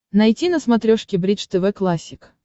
найти на смотрешке бридж тв классик